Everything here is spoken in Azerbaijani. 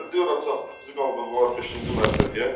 Gəldik ora çatdıq, bizi qaldırdılar beşinci mərtəbəyə.